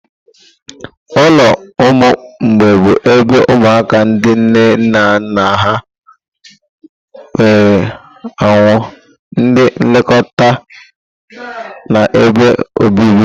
Ụlọ ụmụ mgbei bụ ebe ụmụaka ndị nne na nna ha nwụrụ anwụ, ndị nlekọta na ebe obibi.